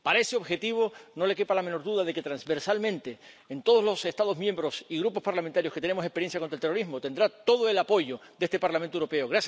Para ese objetivo, no le quepa la menor duda de que transversalmente, en todos los Estados miembros y grupos parlamentarios que tenemos experiencia contra el terrorismo, tendrá todo el apoyo de este Parlamento Europeo.